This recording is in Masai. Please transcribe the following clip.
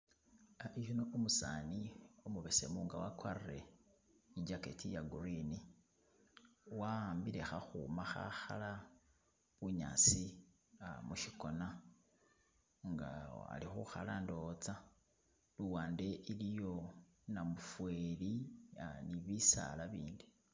Hari uno umusani nga wagwarile ijacket ya green wahambile kakhuma kakhala bunyasi kwama mushigona nga ali kukhala ndowoza luwande iliyo namuferi ni bisaala bindi.